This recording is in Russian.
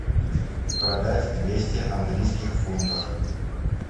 продать двести английских фунтов